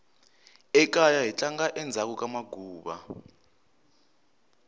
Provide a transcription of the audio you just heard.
ekaya hi tlanga endzhaku ka maguva